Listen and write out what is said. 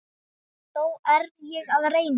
Þó er ég að reyna!